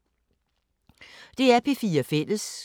DR P4 Fælles